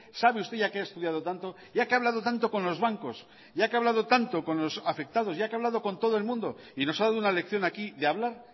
sabe usted ya que ha estudiado tanto ya que ha hablado tanto con los bancos ya que ha hablado tanto con los afectados ya que ha hablado con todo el mundo y nos ha dado una lección aquí de hablar